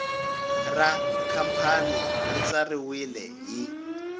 ra khampani ri tsariwile hi